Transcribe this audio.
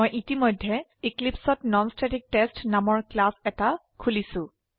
মই ইতিমধ্যে Eclipseত ননষ্টেটিকটেষ্ট নামৰ ক্লাস এটা খুলিছো